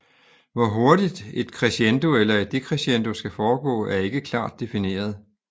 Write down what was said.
Hvor hurtigt et crescendo eller et decrescendo skal foregå er ikke klart difineret